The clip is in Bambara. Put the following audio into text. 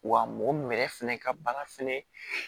Wa mɔgɔ yɛrɛ fɛnɛ ka baara fɛnɛ